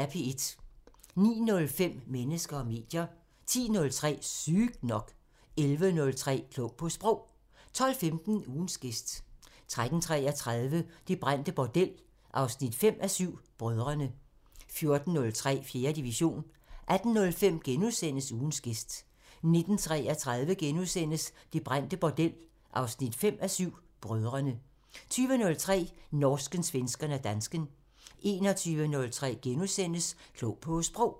09:05: Mennesker og medier 10:03: Sygt nok 11:03: Klog på Sprog 12:15: Ugens gæst 13:33: Det brændte bordel 5:7 – Brødrene 14:03: 4. division 18:05: Ugens gæst * 19:33: Det brændte bordel 5:7 – Brødrene * 20:03: Norsken, svensken og dansken 21:03: Klog på Sprog *